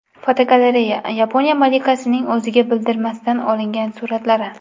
Fotogalereya: Yaponiya malikasining o‘ziga bildirmasdan olingan suratlari.